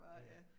Ja ja